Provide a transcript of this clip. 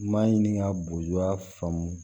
N m'a ɲini ka boya faamu